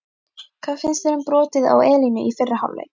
Hvað finnst þér um brotið á Elínu í fyrri hálfleik?